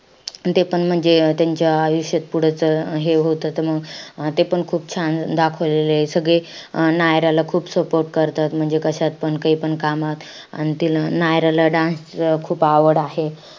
तेपण म्हणजे त्यांच्या आयुष्यात पुढंच हे होतं. त मंग अं ते पण खूप छान दाखवलेलं. य सगळे अं नायराला खूप support करतात. म्हणजे कशात पण काईपण कामात. अन तिला नायराला dance खूप आवड आहे.